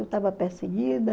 Eu estava perseguida.